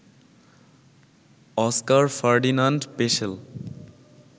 Oskar Ferdinand Peschel